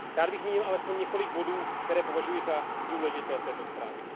Rád bych zmínil alespoň několik bodů, které považuji za důležité v této zprávě.